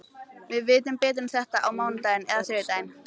Við vitum betur um þetta á mánudaginn eða þriðjudaginn.